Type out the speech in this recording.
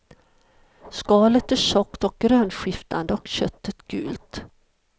Skalet är tjockt och grönskiftande och köttet gult.